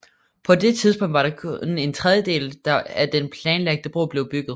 På det tidspunkt var kun en tredjedel af den planlagte bro blevet bygget